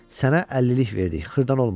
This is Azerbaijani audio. Sənə 50-lik verdik, xırdalanmadı.